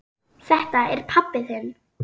Þetta er pabbi þinn.